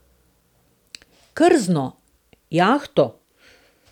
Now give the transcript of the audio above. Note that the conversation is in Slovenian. Krzno, jahto?